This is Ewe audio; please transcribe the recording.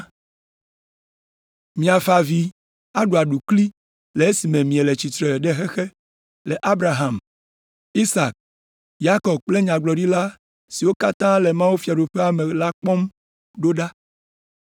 “Miafa avi aɖu aɖukli le esime miele tsitre ɖe xexe le Abraham, Isak, Yakob kple nyagblɔɖila siwo katã le mawufiaɖuƒea me la kpɔm ɖo ɖa.